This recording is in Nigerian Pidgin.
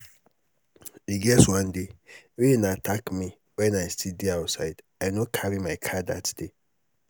e get one day rain attack me wen i still dey outside i no carry my car dat day.